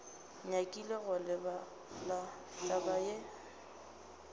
nyakile go lebala taba ye